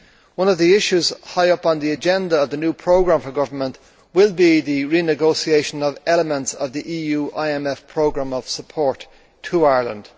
One of the issues high up on the agenda of the new programme for government will be the renegotiation of elements of the EU IMF programme of support to Ireland.